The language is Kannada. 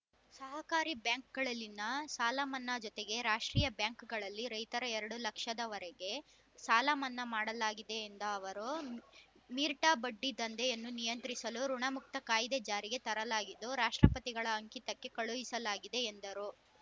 ಸಹಕಾರಿ ಬ್ಯಾಂಕ್‌ಗಳಲ್ಲಿನ ಸಾಲ ಮನ್ನಾ ಜೊತೆಗೆ ರಾಷ್ಟ್ರೀಯ ಬ್ಯಾಂಕ್‌ಗಳಲ್ಲಿ ರೈತರ ಎರಡು ಲಕ್ಷದವರೆಗೆ ಸಾಲ ಮನ್ನಾ ಮಾಡಲಾಗಿದೆ ಎಂದ ಅವರು ಮೀರ್ಟ್ ಬಡ್ಡಿ ದಂಧೆಯನ್ನು ನಿಯಂತ್ರಿಸಲು ಋುಣಮುಕ್ತ ಕಾಯ್ದೆ ಜಾರಿಗೆ ತರಲಾಗಿದ್ದು ರಾಷ್ಟ್ರಪತಿಗಳ ಅಂಕಿತಕ್ಕೆ ಕಳುಹಿಸಲಾಗಿದೆ ಎಂದರು